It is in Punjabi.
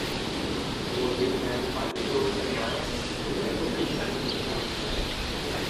ਕੋਸ਼ਿਸ਼ ਹੈ ਪੰਜ ਕਰੋੜ ਪਰਿਵਾਰਾਂ ਨੂੰ ਧੂੰਏ ਤੋਂ ਮੁਕਤ ਜ਼ਿੰਦਗੀ ਦੇਣ ਲਈ।